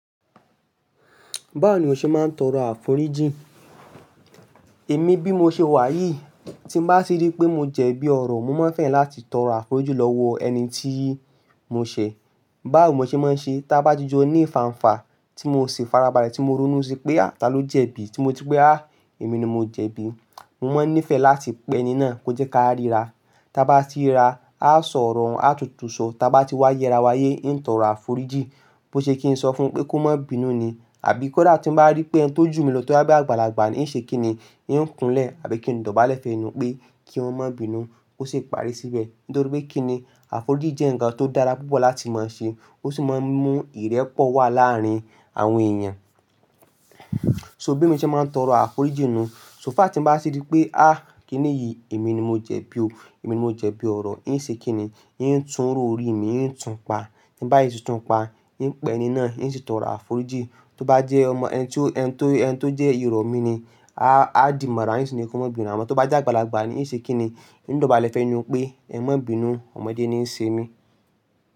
Báwo ni o ṣe máa ń tọrọ àforíjì? Èmi bí mo ṣe wà yìí, tí bá ti rí pé mo jẹ bí ọ̀rọ̀, mo máa ń fẹ́ràn láti tọrọ àforíjì lọ́wọ́ ẹni tí mo ṣẹ̀. Báwo mo ṣe máa ń ṣe, ta bá jijọ ní ìfàǹfà tí mo ṣe farabalẹ̀ tí mo ronú sí pé à tà ló jẹ̀bi, tí mo ti pé a, èmi ni mo jẹ̀bi. Mo máa ń nífẹ̀ẹ́ láti pẹ ẹni náà kó jẹ́ ká ríra. Ta bá ti ríra, a ó sọ̀rọ̀, a ó tutù sọ. Ta bá ti wá yẹra wá yé, ń tọrọ àforíjì. Bo ṣe kí n sọ fún un pé kó má bínú ni? Àbí kó dà? Tí m bá rí pé ẹni tó jù mi lọ, tó yá mí àgbàlagbà ní, í ṣe kí ni? Yín ń kunlẹ̀ àbí kí ń dọ̀bálẹ̀ fẹnu pé kí wọn má bínú, kó sì parí síbẹ̀. Nítorí pé kí ni, àforíjì jẹ́ ǹkan tó dára púpọ̀ láti máa ṣe. Ó sì máa ń mú ìrẹ́pọ̀ wà láàárín àwọn èèyàn. So bí mo ṣe máa ń tọrọ àforíjì nu, só fà tí m bá ti rí pé a, kí ni yìí, èmi ni mo jẹ bí o. Èmi ni mo jẹ bí ọ̀rọ̀. Yín ṣe kí ni? Yín tún rò òri mi, yín tún pa. Tí bá yé ṣe tún pa, yín pẹ ẹni náà, yín ṣe tọrọ àforíjì. Tó bá jẹ́ ọmọ ẹni tí ó, ẹni tí ó jẹ́ irọ̀ mí ni, a ó dì mọ̀rá, yín sì ní kó má bínú. Àmọ́ tó bá jẹ́ àgbàlagbà ni, yín ṣe kí ni? Yín dọ̀bálẹ̀ fẹnu pé ẹ má bínú, ọmọdé ni í ṣe mí.